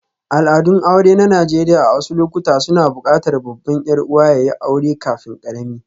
Al'adun aure na Najeriya a wasu lokuta suna buƙatar babban 'yar'uwa ya yi aure kafin ƙarami.